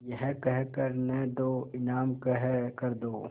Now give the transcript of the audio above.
यह कह कर न दो इनाम कह कर दो